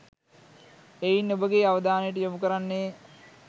එයින් ඔබගේ අවධානයට යොමු කරන්නේ